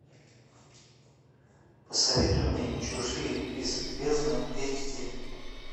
посоветуй мне чужие из бездны эйч ди